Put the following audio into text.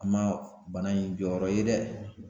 An ma bana in jɔyɔrɔ ye dɛ